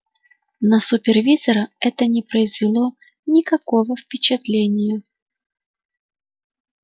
на супервизора это не произвело никакого впечатления